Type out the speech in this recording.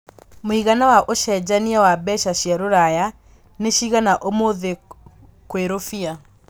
mũigana wa ũcenjanĩa wa mbeca cia rũraya nĩ cigana ũmũthi gwi rũbia